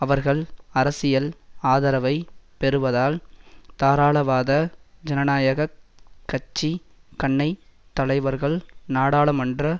அவர்கள் அரசியல் ஆதரவை பெறுவதால் தாராளவாத ஜனநாயக கட்சி கன்னை தலைவர்கள் நாடாளுமன்ற